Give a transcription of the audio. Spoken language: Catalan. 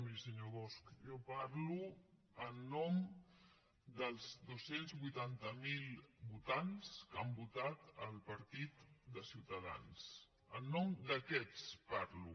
miri senyor bosch jo parlo en nom dels dos cents i vuitanta miler votants que han votat el partit de ciutadans en nom d’aquests parlo